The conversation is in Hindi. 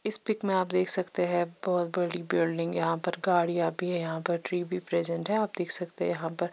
इस पिक में आप देख सकते है बहोत बड़ी बिल्डिंग यहाँ पर गाडिया भी है यहाँ पर ट्री भी प्रजेंट है और देख सकते है यहाँ पर --